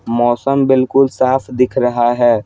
मौसम बिल्कुल साफ दिख रहा है।